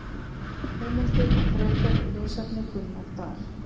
Heimildir og frekari lesefni: Gunnar Dal.